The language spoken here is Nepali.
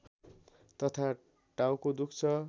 तथा टाउको दुख्छ